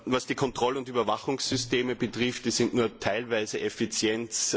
Was die Kontroll und Überwachungssysteme betrifft, so sind diese nur teilweise effizient.